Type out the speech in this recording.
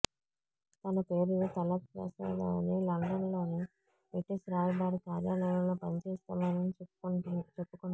తన పేరు తళత్ ప్రసాద్ అని లండన్లోని బ్రిటీష్ రాయబార కార్యాలయంలో పనిచేస్తున్నానని చెప్పుకున్నాడు